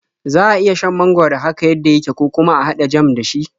Za a iya shan mangwaro haka yadda yake, ko kuma a haɗa jam da shi.